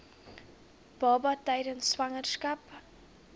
baba tydens swangerskap